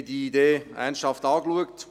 Wir haben diese Idee ernsthaft angeschaut.